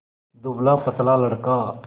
दुबलापतला लड़का